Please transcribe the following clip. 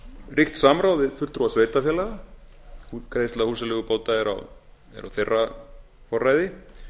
ríkt samráð við fulltrúa sveitarfélaga útgreiðsla húsaleigubóta er á þeirra forræði